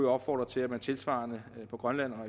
opfordre til at man tilsvarende i grønland og